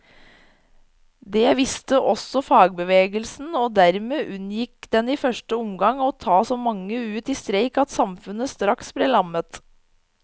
Det visste også fagbevegelsen, og dermed unngikk den i første omgang å ta så mange ut i streik at samfunnet straks ble lammet.